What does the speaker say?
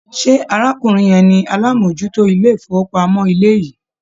Ṣé arákùnrin yẹn ni alámòójútó ilé-ìfowópamọ́ yìí?